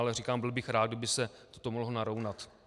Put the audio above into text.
Ale říkám, byl bych rád, kdyby se to mohlo narovnat.